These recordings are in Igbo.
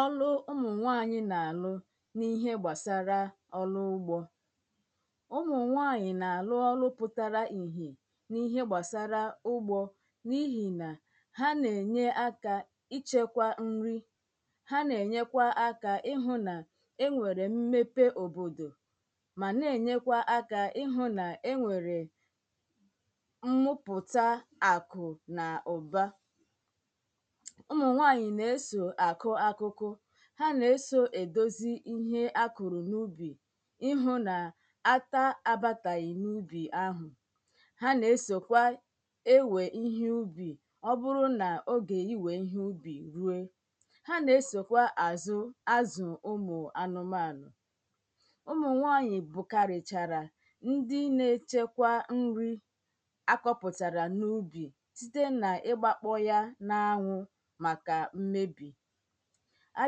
ọrụ ụmụ̀nwaanyị̀ nà-àrụ n’ihe gbàsara ọrụ ugbō ụmụ̀nwaanyị̀ nà-àrụ ọrụ pụtara ìhè n’íhé gbàsárá úgbō n’ihì nà ha nà-ènyeaka ichēkwa nri ha nà-ènyekwa aka ịhụ̄ nà enwèrè mmepe òbòdò mà nà-ènyékwa aka ihụ̄ nà-enwèrè mmụpụ̀ta àkụ̀ nà ụ̀ba ụmụ̀nwaanyị̀ nà-esò àkụ ákụ́kụ́ ha nà-esò èdozi ihe akụ̀rụ̀ n’ubì ihụ̄ nà ata abātàghì n’ubì ahụ̀ ha nà-esòkwa ewè ihe ubì ọbụrụ nà ogè iwè ihe ubì rue ha na-esòkwa àzụ azụ̀ ụmụ̀anụ̀mànụ̀ ụmụ̀nwaanyị̀ bùkàrìchàrà ndi na-echekwa nri akọ̄pụ̀tàrà n’ubì síte nà ịgbākpọ̄ ya n’anwụ̄ màkà mmebì a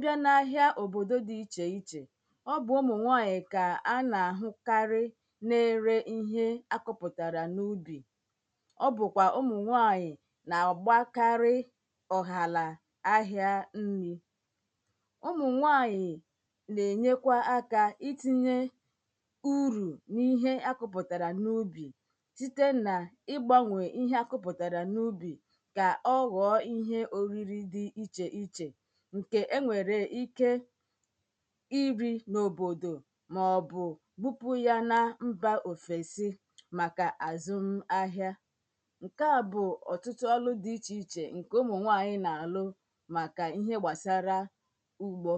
bị̀a n’ahịa òbòdò di ichèichè ọ bụ̀ ụmụ̀nwanyị̀ kà à nà-àhụkarị na-ere ihe akọ̄pụ̀tàrà n’ubì ọ́ bụ̀kwà ụmụ̀nwanyị̀ nà-àgbakarị́ ọ̀hàlà ahịa nrī ʊmʊ̀ŋʷaɲɪ̀ nè:ɲekʷa aka itīɲe urù ni:ɦe akʊ̄pʊ̀tàrà nu:bì site nà igbāŋʷè iɦe akʊ̄pʊ̀tàrà nu:bì kà ọ̀ gọ̀ọ̀ ihe òriri di ichèichè ǹke enwèrè ike i rī n’òbòdò maọ̀bụ̀ bupù ya na mbà òfèsi màkà a zum ahia ǹkè a bụ̀ òtụtụ ọrụ dì ichèichè ǹkè ụmụ̀nwanyị̀ na-àrụ màkà ihe gbàsara ugbō